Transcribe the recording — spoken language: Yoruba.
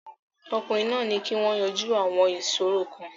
Ọkùnrin náà ní kí wọ́n yanjú àwọn ìṣòro kan.